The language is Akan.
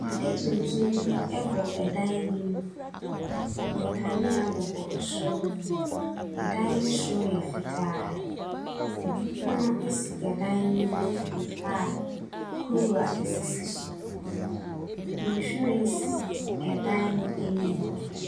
Ade tuntum bi bɔ dan bi mu, nkanea bɔ soro. Dan no soro yɛ fitaa. Kwan si dan no mfimfin a kuruwa sisi so. Nhwiren si dan no anim. Ade tuntum bi bɔ dan bi mu.